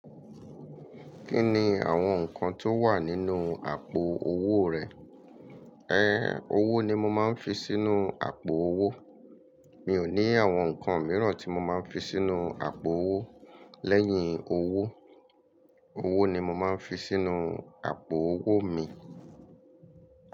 Kí ni àwọn nǹkan tó wà nínú àpò owó rẹ? Ẹn, owó ni mo máa ń fi sínú àpò owó. Mi ò ní àwọn nǹkan mìíràn tí mo máa ń fi sínú àpò owó lẹ́yìn owó. Owó ni mo máa ń fi sínú àpò owó mi.